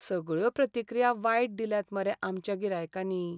सगळ्यो प्रतिक्रिया वायट दिल्यात मरे आमच्या गिरायकांनी!